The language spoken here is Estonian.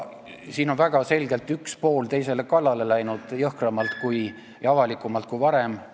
Siin on väga selgelt üks pool teisele kallale läinud jõhkramalt ja avalikumalt kui varem.